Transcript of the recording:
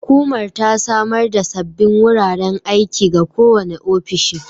Hukumar ta samar da sabbin wuraren aiki ga kowane ofishi